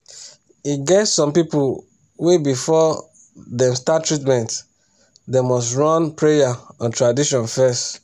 e get some people wey before dem start treatment them nust run prayer or tradition fes